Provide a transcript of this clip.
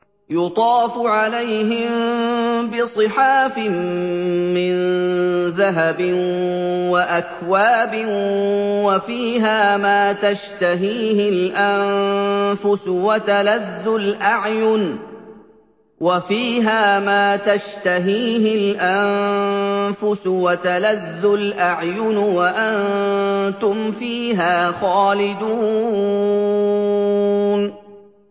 يُطَافُ عَلَيْهِم بِصِحَافٍ مِّن ذَهَبٍ وَأَكْوَابٍ ۖ وَفِيهَا مَا تَشْتَهِيهِ الْأَنفُسُ وَتَلَذُّ الْأَعْيُنُ ۖ وَأَنتُمْ فِيهَا خَالِدُونَ